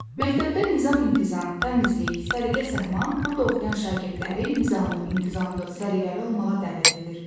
Məktəbdə nizam-intizam, təmizlik, səliqə-səhman burda oxuyan şagirdləri nizamlı, intizamlı, səliqəli olmağa dəvət edir.